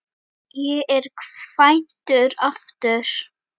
Ég er kvæntur aftur.